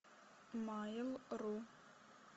майл ру